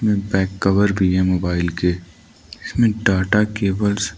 back cover भी है mobile के इसमें डाटा केबल्स --